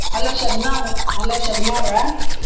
Hello Shabna ಅವ್ರ? hello Shabna ಅವ್ರಾ?